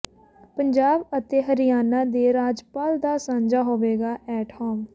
ਪੰਜਾਬ ਅਤੇ ਹਰਿਆਣਾ ਦੇ ਰਾਜਪਾਲ ਦਾ ਸਾਂਝਾ ਹੋਵੇਗਾ ਐਟ ਹੋਮ